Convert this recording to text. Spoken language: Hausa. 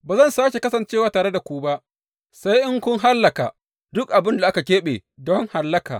Ba zan sāke kasancewa tare da ku ba sai in kun hallaka duk abin da aka keɓe don hallaka.